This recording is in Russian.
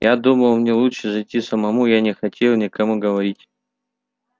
я думал мне лучше зайти самому я не хотел никому говорить